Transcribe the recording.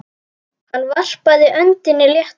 Hann varpaði öndinni léttar.